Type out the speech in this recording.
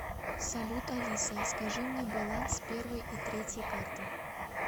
салют алиса скажи мне баланс первой и третьей карты